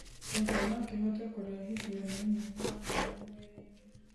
kĩongo nokihote kurehithio ni unyihu wa maĩ mwĩrĩ-ini